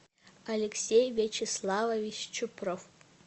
алексей вячеславович чупров